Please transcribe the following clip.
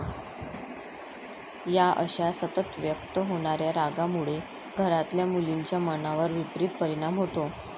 या अश्या सतत व्यक्त होणाऱ्या रागामुळे घरातल्या मुलींच्या मनावर विपरीत परिणाम होतो.